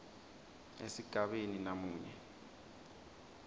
esigabeni b namunye